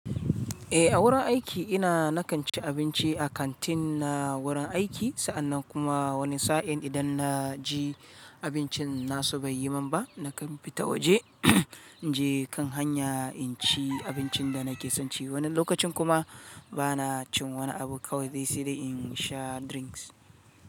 Eh, a wurin aiki ina, na kan ci abinci a kantin na wurin aiki, sa'annan kuma wani sa'in idan na ji. Abincin nasu bai yi min ba, na kan fita waje, in je kan hanya in ci abincin da nake son ci. Wani lokacin kuma ba na cin wani abu kawai dai sai dai in sha drinks.